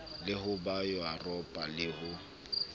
le ho ba yuropa le